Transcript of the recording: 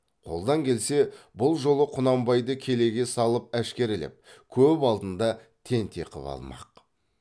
қолдан келсе бұл жолы құнанбайды келеге салып әшкерелеп көп алдында тентек қып алмақ